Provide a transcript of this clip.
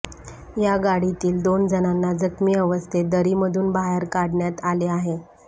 या गाडीतील दोन जणांना जखमी अवस्थेत दरीमधून बाहेर काढण्यात आले आहे